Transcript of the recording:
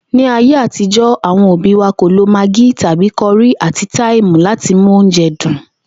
Ní ayé àtijó̩, àwo̩n òbí wa kò lo magí tàbí ko̩rí àti táìmù láti mú oúnje̩ dùn